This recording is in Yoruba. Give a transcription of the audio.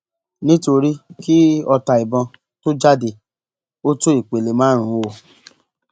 nítorí kí ọta ìbọn tóó jáde ó tó ìpele márùnún o